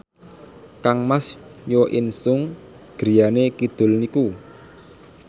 kangmas Jo In Sung griyane kidul niku